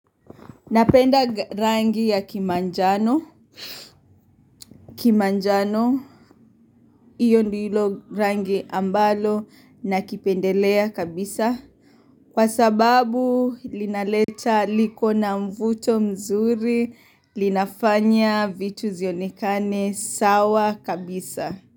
Napenda rangi ya kimanjano, kimanjano, hiyo ndilo rangi ambalo nakipendelea kabisa. Kwa sababu, linaleta liko na mvuto mzuri, linafanya vitu zionekane sawa kabisa.